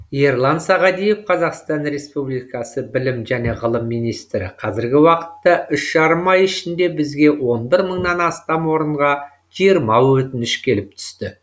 ерлан сағадиев қазақстан республикасы білім және ғылым министрі қазіргі уақытта үш жарым ай ішінде бізге он бір мыңнан астам орынға жиырма өтініш келіп түсті